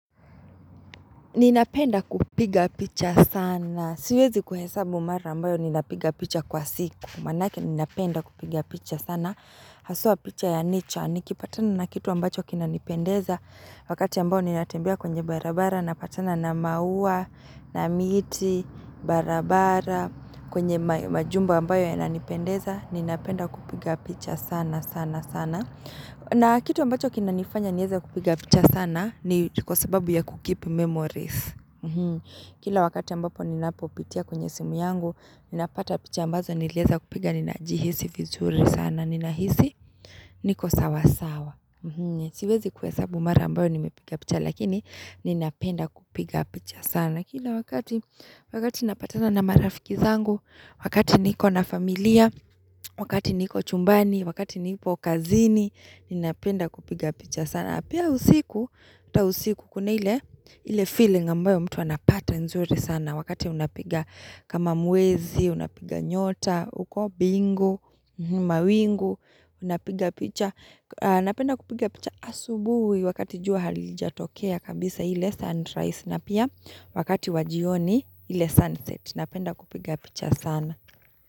Ninapenda kupiga picha sana. Siwezi kuhesabu mara ambayo ninapiga picha kwa siku. Manake ninapenda kupiga picha sana. Haswa picha ya nechal. Nikipatana na kitu ambacho kinanipendeza. Wakati ambao ninatembea kwenye barabara. Napatana na maua, na miti, barabara, kwenye majumba ambayo yananipendeza. Ninapenda kupiga picha sana sana sana. Na kitu ambacho kina nifanya nieze kupiga picha sana ni kwa sababu ya kukip memories. Kila wakati ambapo ninapopitia kwenye simu yangu, ninapata picha ambazo nilieza kupiga ninajihisi vizuri sana, ninahisi, niko sawasawa. Siwezi kuhesabu mara ambayo nimepiga picha lakini ninapenda kupiga picha sana. Kila wakati wakati napatana na marafiki zangu, wakati niko na familia, wakati niko chumbani, wakati nipo kazini, ninapenda kupiga picha sana. Na pia usiku, atausiku kuna ile ile feeling ambayo mtu anapata nzuri sana wakati unapiga kama mwezi, unapiga nyota, uko bingu, mawingu, unapiga picha. Napenda kupiga picha asubuhi wakati jua halijatokea kabisa ile sunrise na pia wakati wa jioni ile sunset. Napenda kupiga picha sana.